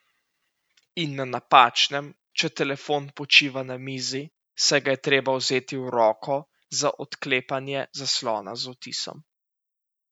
In na napačnem, če telefon počiva na mizi, saj ga je treba vzeti v roko za odklepanje zaslona z odtisom.